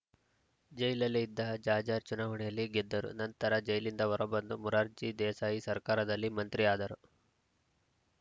ಜೈಲಲ್ಲೇ ಇದ್ದ ಜಾಜ್‌ರ್ ಚುನಾವಣೆಯಲ್ಲಿ ಗೆದ್ದರು ನಂತರ ಜೈಲಿಂದ ಹೊರಬಂದು ಮೊರಾರ್ಜಿ ದೇಸಾಯಿ ಸರ್ಕಾರದಲ್ಲಿ ಮಂತ್ರಿಯಾದರು